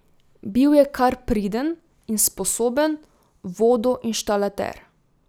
Bil je kar priden in sposoben vodoinštalater.